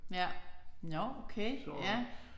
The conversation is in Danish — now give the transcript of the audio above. Ja nåh okay ja